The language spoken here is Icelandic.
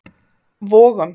Vogum